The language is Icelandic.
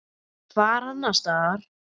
Hvar annars staðar!